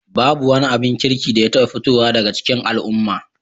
Babu wani abin kirki da ya taɓa fitowa daga cikin al'umma